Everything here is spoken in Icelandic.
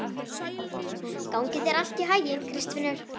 Gangi þér allt í haginn, Kristfinnur.